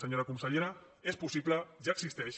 senyora consellera és possible ja existeix